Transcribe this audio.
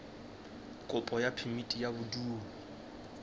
kopo ya phemiti ya bodulo